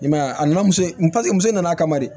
I m'a ye a nana muso muso nana kama de